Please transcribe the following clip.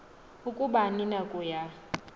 ukuba anina kuya